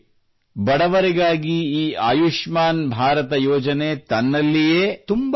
ನೋಡಿ ಬಡವರಿಗಾಗಿ ಈ ಆಯುಷ್ಮಾನ್ ಭಾರತ ಯೋಜನೆ ತನ್ನಲ್ಲಿಯೇ